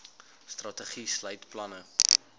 strategie sluit planne